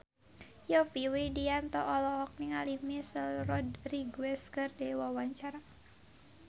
Yovie Widianto olohok ningali Michelle Rodriguez keur diwawancara